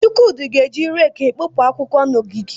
Chukwudi ga-eji rẹeki ekpopụ akwụkwọ n'ogige.